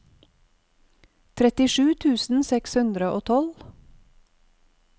trettisju tusen seks hundre og tolv